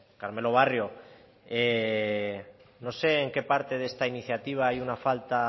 carmelo barrio no sé en qué parte de esta iniciativa hay una falta